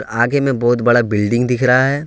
आगे में बहुत बड़ा बिल्डिंग दिख रहा है।